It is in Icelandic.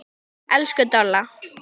Elsku Dolla.